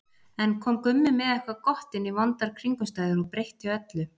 Enn kom Gummi með eitthvað gott inn í vondar kringumstæður og breytti öllu.